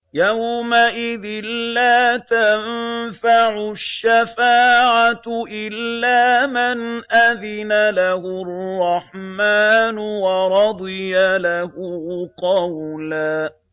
يَوْمَئِذٍ لَّا تَنفَعُ الشَّفَاعَةُ إِلَّا مَنْ أَذِنَ لَهُ الرَّحْمَٰنُ وَرَضِيَ لَهُ قَوْلًا